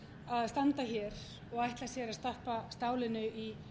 að standa hér og ætla sér að stappa stálinu í